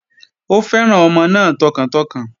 Ó fẹ́ràn ọmọ náà tọkàntọkàn